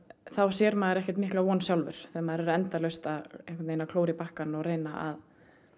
þá sér maður ekkert mikla von sjálfur þegar maður er endalaust að klóra í bakkann og reyna